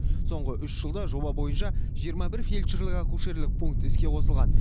соңғы үш жылда жоба бойынша жиырма бір фельдшерлік акушерлік пункт іске қосылған